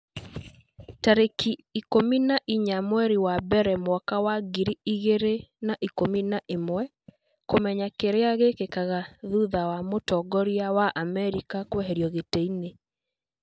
tarĩki ikũmi na inya mweri wa mbere mwaka wa ngiri igĩrĩ na ikũmi na ĩmweKũmenya kĩrĩa gĩkĩkaga thutha wa mũtongoria wa Amerika kũeherio gĩtĩ-inĩ